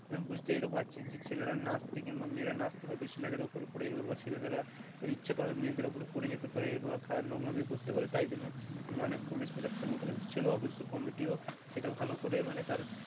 মানে বুঝতেই তো পাচ্ছিস যে ছেলেরা নাচছে কিংবা মেয়েরা নাচছে হয়তো ছেলেদের উপর পড়ে গেলো বা ছেলেরা ইচ্ছে করে মেয়েদের উপরে পড়ে যেতে পারে বা নোংরামি করতে পারে তাই জন্য মানে পুলিশ protection ওখানে ছিল committee ও সেটা ভালো করে মানে তার,